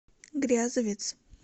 грязовец